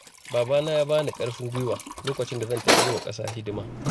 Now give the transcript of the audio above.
Babana ya bani ƙarfin guiwa lokacin da zan tafi yi wa ƙasa hidima.